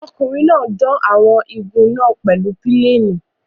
Ọkùnrin náà dán àwọn igun náà pèlú pílénì.